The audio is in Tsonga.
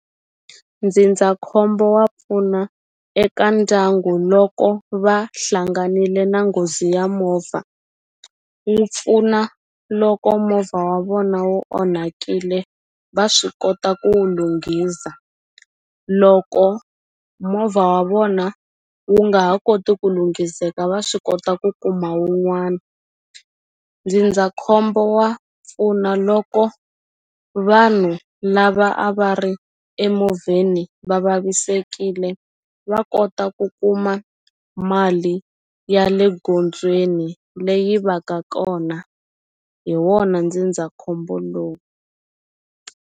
Ndzindzakhombo wa pfuna eka ndyangu loko va hlanganile na nghozi ya movha wu pfuna loko movha wa vona wu onhakile va swi kota ku wu lunghiza loko movha wa vona wu nga ha koti ku lunghiseka va swi kota ku kuma wun'wana ndzindzakhombo wa pfuna loko vanhu lava a va ri emovheni va vavisekile va kota ku kuma mali ya le gondzweni leyi va ka kona hi wona ndzindzakhombo lowu.